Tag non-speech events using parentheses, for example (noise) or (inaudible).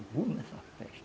(unintelligible) nessa festa.